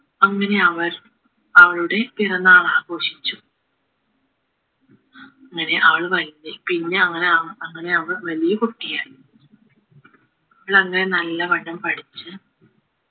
അങ്ങനെ അവർ അവളുടെ പിറന്നാൾ ആഘോഷിച്ചു അങ്ങനെ അവൾ വലുതായി പിന്നെ അവൾ ആഹ് അങ്ങനെ അവൾ വലിയ കുട്ടിയായി അവളങ്ങനെ നല്ലവണ്ണം പഠിച്ച്